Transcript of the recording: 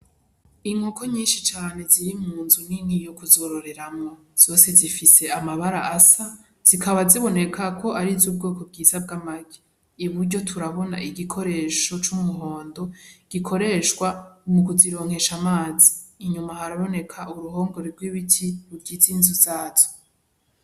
Inkoko nyinshi cane ziri munzu nini yo kuzororemwo zose zifise amabara asa, zikaba ziboneka ko ariz'ubwoko bwiza bw'amagi , iburyo turabona igikoresho c'umuhondo gikoreshwa mu kuzironkesha amazi , inyuma haraboneka uruhongore rw'ibiti rugize inzu zazo.